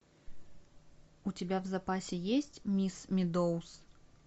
у тебя в запасе есть мисс медоуз